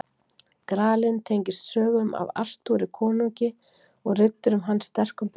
Gralinn tengist sögum af Artúri konungi og riddurum hans sterkum böndum.